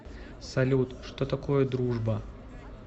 салют что такое дружба